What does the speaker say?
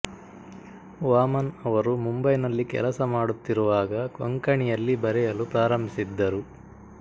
ವಾಮನ್ ಅವರು ಮುಂಬೈನಲ್ಲಿ ಕೆಲಸ ಮಾಡುತ್ತಿರುವಾಗ ಕೊಂಕಣಿಯಲ್ಲಿ ಬರೆಯಲು ಪ್ರಾರಂಭಿಸಿದ್ದರು